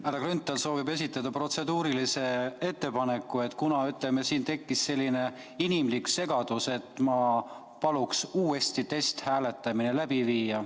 Härra Grünthal soovib esitada protseduurilise ettepaneku, et kuna siin tekkis selline inimlik segadus, siis ma palun uuesti testhääletamise läbi viia.